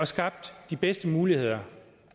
skabt de bedste muligheder